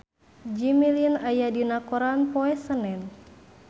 Jimmy Lin aya dina koran poe Senen